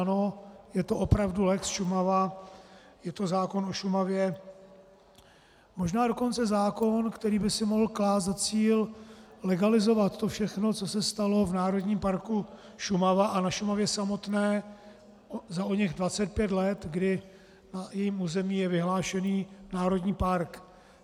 Ano, je to opravdu lex Šumava, je to zákon o Šumavě, možná dokonce zákon, který by si mohl klást za cíl legalizovat to všechno, co se stalo v Národním parku Šumava a na Šumavě samotné za oněch 25 let, kdy na jejím území je vyhlášený národní park.